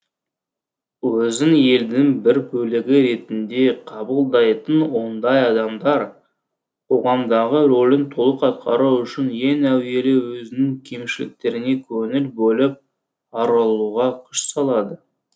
өзін елдің бір бөлігі ретінде қабылдайтын ондай адамдар қоғамдағы рөлін толық атқару үшін ең әуелі өзінің кемшіліктеріне көңіл бөліп арылуға күш салады